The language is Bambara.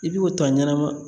I b'i o ta ɲɛnama